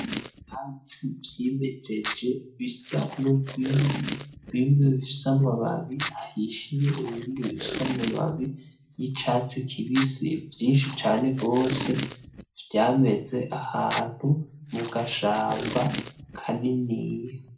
Ivyatsi vyimejeje bisa n'ugwiri bimwe bifise amababi ahishiye ibindi bifise amababi yicatsi kibisi vyinshi cane gose vyameze ahantu mugashamba kaniniya